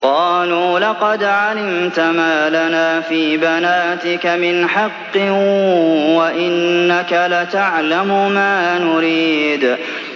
قَالُوا لَقَدْ عَلِمْتَ مَا لَنَا فِي بَنَاتِكَ مِنْ حَقٍّ وَإِنَّكَ لَتَعْلَمُ مَا نُرِيدُ